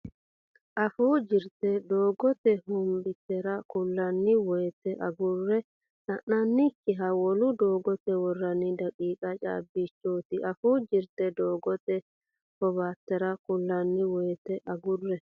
Afuu Jirte Doogote hobbaatere kullanni woyte agurre sa nannikkihu wolu doogote worranni daqiiqa caabbichooti Afuu Jirte Doogote hobbaatere kullanni woyte agurre.